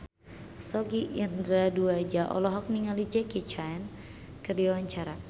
Sogi Indra Duaja olohok ningali Jackie Chan keur diwawancara